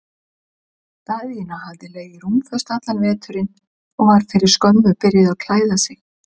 Daðína hafði legið rúmföst allan veturinn og var fyrir skömmu byrjuð að klæða sig.